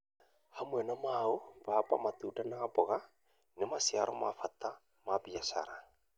Hamwe na mau, mbamba, matunda, na mboga nĩ maciaro ma bata ma biashara.